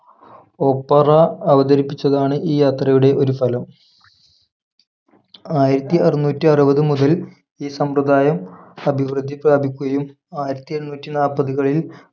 opera അവതരിപ്പിച്ചതാണ് ഈ യാത്രയുടെ ഒരു ഫലം ആയിരത്തിഅറുനൂറ്റിഅറുപത് മുതൽ ഈ സമ്പ്രദായം അഭിവൃദ്ധി പ്രാപിക്കുകയും ആയിരത്തിഎണ്ണൂറ്റിനാപ്പത് കളിൽ